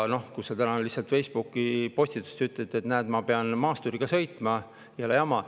Aga sa lihtsalt Facebooki postituses ütled, et näed, ma pean maasturiga sõitma, jõle jama.